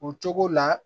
O cogo la